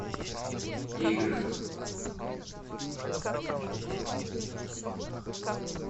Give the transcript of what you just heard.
игры